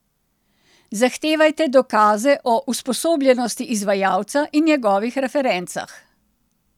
Zahtevajte dokaze o usposobljenosti izvajalca in njegovih referencah.